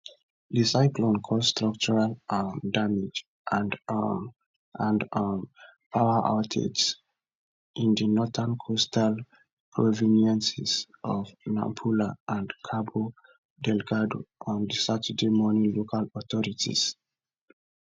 di cyclone cause structural um damage and um and um power outages in di northern coastal provinces of nampula and cabo delgado on saturday morning local authorities report